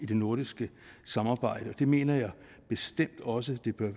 det nordiske samarbejde og det mener jeg bestemt også at den